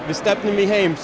við stefnum í heim